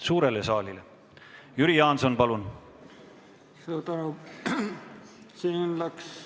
Jüri Jaanson, palun!